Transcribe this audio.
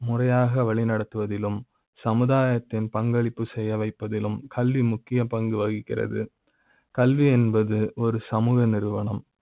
முறையாக வழி நடத்துவதிலும் சமுதாய த்தின் பங்களிப்பு செய்ய வைப்பதிலும் கல்வி முக்கிய பங்கு வகிக்கிறது கல்வி என்பது ஒரு சமூக நிறுவன ம்